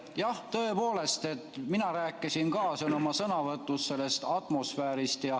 Jah, tõepoolest, mina rääkisin ka oma sõnavõtus atmosfäärist.